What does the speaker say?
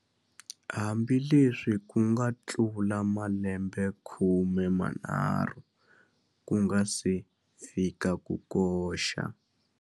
Hambileswi ku nga tlula malembekhume manharhu ku nga si fika ku koxa.